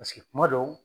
Paseke kuma dɔw